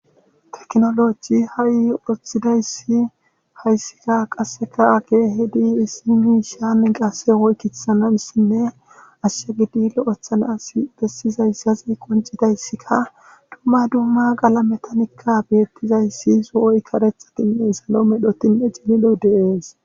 teknoloji ha7i oththidayssi hayssika qasseka age hidi issimi shaan gase woykithtsanassinne ashyagidilo oththanas bessizayssazi qoncidayssika dumma dumma gala metanikka beettizayssi so7oy karethakinne salo medhotinne cililo deees